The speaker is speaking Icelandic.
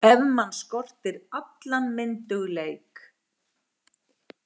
Ef mann skortir allan myndugleik.